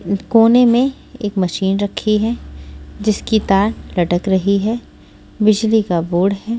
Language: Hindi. कोने में एक मशीन रखी है जिसकी तार लटक रही है बिजली का बोर्ड है।